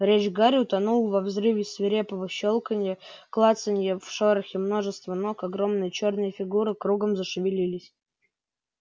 речь гарри утонула во взрыве свирепого щёлканья клацанья в шорохе множества ног огромные чёрные фигуры кругом зашевелились